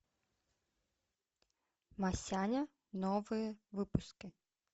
масяня новые выпуски